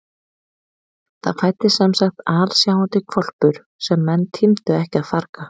Það fæddist semsagt alsjáandi hvolpur sem menn tímdu ekki að farga.